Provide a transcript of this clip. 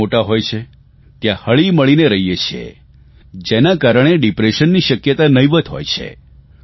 પરિવાર મોટા હોય છે ત્યાં હળીમળીને રહીએ છીએ જેના કારણે ડિપ્રેશનની શક્યતા નહિંવત હોય છે